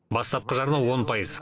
бастапқы жарна он пайыз